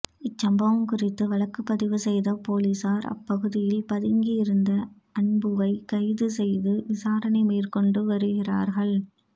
இச்சம்பவம் குறித்து வழக்குப்பதிவு செய்த போலீசார் அப்பகுதியில் பதுங்கியிருந்த அன்புவைக் கைது செய்து விசாரணை மேற்கொண்டு வருகிறார்கள்